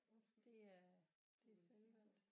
Undskyld du ville sige noget